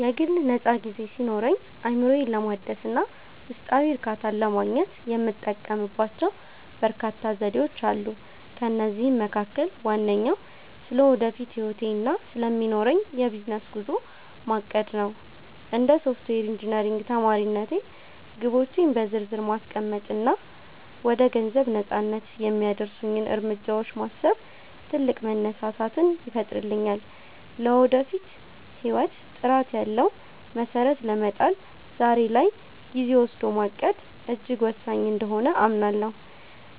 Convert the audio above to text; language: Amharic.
የግል ነፃ ጊዜ ሲኖረኝ፣ አእምሮዬን ለማደስ እና ውስጣዊ እርካታን ለማግኘት የምጠቀምባቸው በርካታ ዘዴዎች አሉ። ከእነዚህም መካከል ዋነኛው ስለ ወደፊት ህይወቴ እና ስለሚኖረኝ የቢዝነስ ጉዞ ማቀድ (Planning) ነው። እንደ ሶፍትዌር ኢንጂነሪንግ ተማሪነቴ፣ ግቦቼን በዝርዝር ማስቀመጥ እና ወደ ገንዘብ ነፃነት (Financial Freedom) የሚያደርሱኝን እርምጃዎች ማሰብ ትልቅ መነሳሳትን ይፈጥርልኛል። ለወደፊት ህይወት ጥራት ያለው መሰረት ለመጣል ዛሬ ላይ ጊዜ ወስዶ ማቀድ እጅግ ወሳኝ እንደሆነ አምናለሁ።